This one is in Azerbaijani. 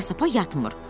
İpə-sapa yatmır.